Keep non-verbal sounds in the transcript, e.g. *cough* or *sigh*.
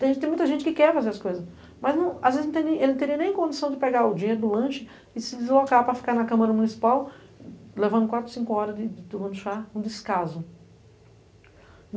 Tem muita gente que quer fazer as coisas, mas às vezes ele não teria nem condição de pegar o dinheiro do lanche e se deslocar para ficar na Câmara Municipal, levando quatro, cinco horas de *unintelligible* um descaso.